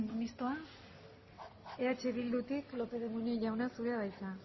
mistoa eh bildutik lópez de munain jauna zurea da hitza